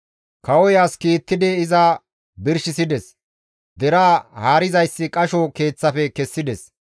Kawoy as kiittidi iza birshisides; deraa haarizayssi qasho keeththafe kessides.